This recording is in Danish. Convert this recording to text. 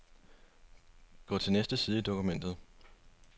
Gå til næste side i dokumentet.